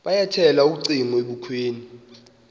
yabethela ucingo ebukhweni